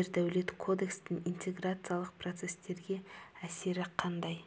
ердәулет кодекстің интеграциялық процестерге әсері қандай